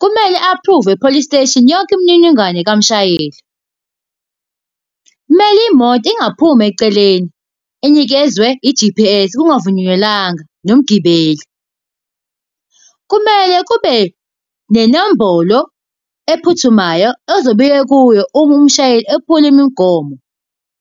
Kumele a-aphruvwe e-police station yonke imininingwane kamshayeli. Kumele imoto ingaphumi eceleni, inikezwe i-G_P_S kungavunyelwananga nomgibeli. Kumele kube nenombolo ephuthumayo ozobuya kuyo uma umshayeli ephula imigomo.